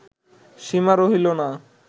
সীমা রহিল না